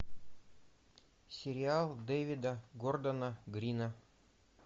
сериал дэвида гордона грина